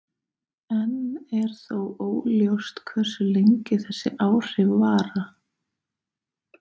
Enn er þó óljóst hversu lengi þessi áhrif vara.